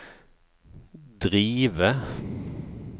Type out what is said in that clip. drive